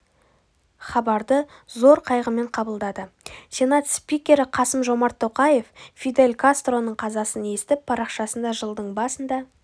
хабарды зор қайғымен қабылдады сенат спикері қасым-жомарт тоқаев фидель кастроның қазасын естіп парақшасында жылдың басында